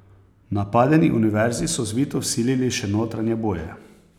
Napadeni univerzi so zvito vsilili še notranje boje.